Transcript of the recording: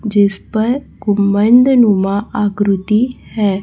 जिस पर गुंबद नुमा आकृति है।